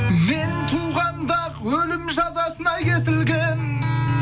мен туғанда ақ өлім жазасына кесілгенмін